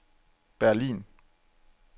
Berlin